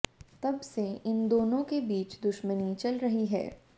तब से इन दोनों के बीच दुश्मनी चल रही है